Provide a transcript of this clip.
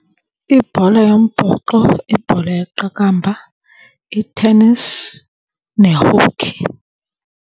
Ibhola yombhoxo, ibhola yeqakamba, i-tennis, ne-hockey.